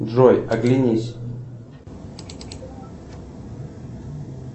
джой оглянись